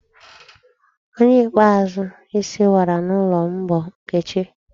Onye ikpeazụ isi wara n'ụlọ m bụ Nkechi